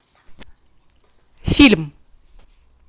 фильм